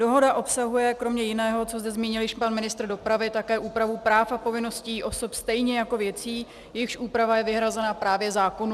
Dohoda obsahuje kromě jiného, co zde zmínil již pan ministr dopravy, také úpravu práv a povinností osob stejně jako věcí, jejichž úprava je vyhrazena právě zákonu.